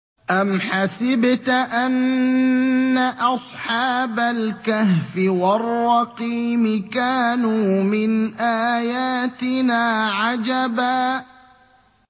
أَمْ حَسِبْتَ أَنَّ أَصْحَابَ الْكَهْفِ وَالرَّقِيمِ كَانُوا مِنْ آيَاتِنَا عَجَبًا